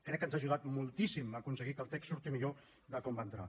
crec que ens ha ajudat moltíssim a aconseguir que el text surti millor de com va entrar